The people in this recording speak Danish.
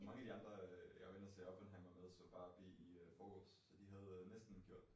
Man af de andre øh jeg var inde og se Oppenheimer med så Barbie i øh forgårs så de havde næsten lige gjort det